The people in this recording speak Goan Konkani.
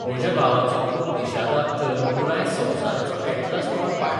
म्हज्या भावाचो पूत निशादाक तर पुराय संवसाराचो अॅटलास तोंडपाठ.